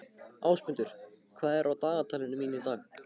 Ásmundur, hvað er á dagatalinu mínu í dag?